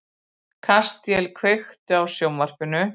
Kastíel, kveiktu á sjónvarpinu.